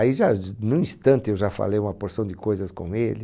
Aí já j, num instante, eu já falei uma porção de coisas com ele.